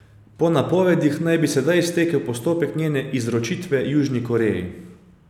Po napovedih naj bi sedaj stekel postopek njene izročitve Južni Koreji.